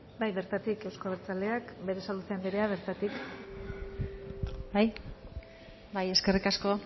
bai bertatik euzko abertzaleak berasaluze anderea bertatik bai eskerrik asko